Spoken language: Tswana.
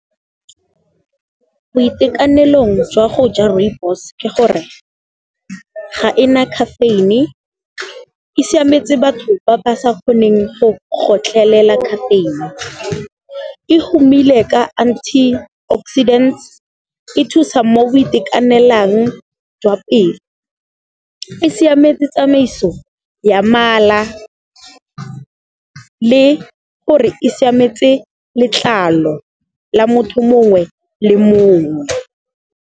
Boitekanelong jwa go ja rooibos ke gore, ga ena caffeine, e siametse batho ba ba sa kgoneng go gotlelela caffeine. E gomile ka anti-oxidants, e thusa mo go itekanelang jwa pelo, e siametse tsamaiso ya mala le gore e siametse letlalo la motho mongwe le mongwe.